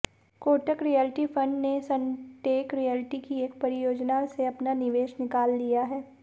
Kotak realty fund ने Sunteck realty की एक परियोजना से अपना निवेश निकाल लिया है